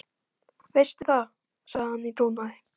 Veistu það, sagði hann í trúnaði.